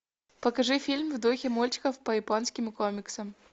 покажи фильм в духе мультиков по японским комиксам